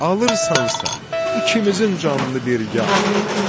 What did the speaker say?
Alırsansa, ikimizin canını birgə al.